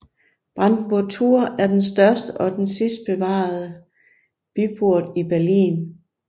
Brandenburger Tor er den største og den sidste bevarede byport i Berlin